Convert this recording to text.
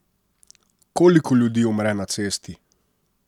Koliko ljudi umre na cesti?